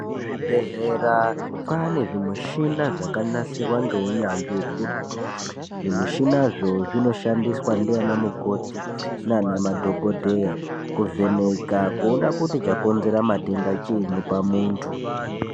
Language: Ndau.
Kuzvibhedhlera kwaane zvimushina zvakanasirwa ngeunyanzvi ukurutu zvimushinazvo zvinoshandiswa ndiana mukoti nana madhokodheya kuvheneka kuona kuti chakonzera matenda chiinyi pamuntu.